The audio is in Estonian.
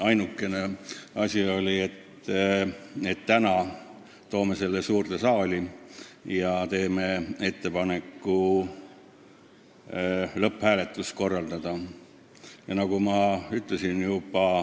Ainukene otsus oli, et esitame selle tänaseks suurde saali ja teeme ettepaneku korraldada lõpphääletus.